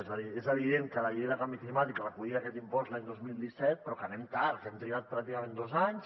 és a dir és evident que la llei de canvi climàtic recollia aquest impost l’any dos mil disset però que anem tard que hem trigat pràcticament dos anys